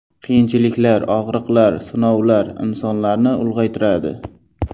Qiyinchiliklar, og‘riqlar, sinovlar insonlarni ulg‘aytiradi.